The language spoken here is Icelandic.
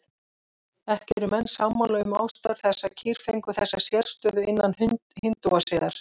Ekki eru menn sammála um ástæður þess að kýr fengu þessa sérstöðu innan hindúasiðar.